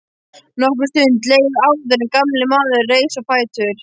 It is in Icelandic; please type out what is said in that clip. Nokkur stund leið áður en gamli maðurinn reis á fætur.